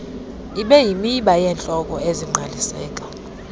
ibeyimiba yezihloko ezingqaliseka